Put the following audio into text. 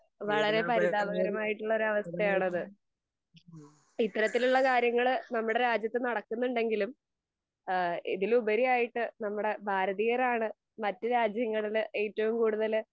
വളരേ പരിതാപകരമായിട്ടുള്ള ഒരു അവസ്ഥയാണത്. ഇത്തരത്തിലുള്ള കാര്യങ്ങള് നമ്മുടെ രാജ്യത്ത് നടക്കുന്നുണ്ടെങ്കിലും അഹ് ഇതിലുപരിയായിട്ട് നമ്മുടെ ഭാരതീയരാണ് മറ്റു രാജ്യങ്ങളിൽ ഏറ്റവും കൂടുതൽ